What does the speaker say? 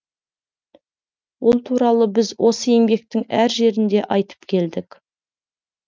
ол туралы біз осы еңбектің әр жерінде айтып келдік